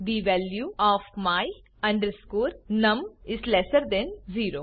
the value of my num is lesser than 0